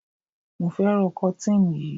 mo fẹràn kotin yíi